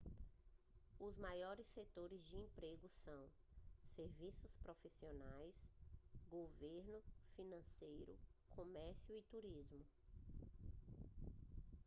os maiores setores de emprego são serviços profissionais governo financeiro comércio e turismo